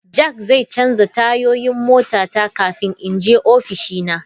Jack zai canza tayoyin motata kafin in je ofishina.